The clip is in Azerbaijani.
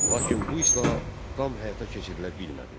Lakin bu islahat tam həyata keçirilə bilmədi.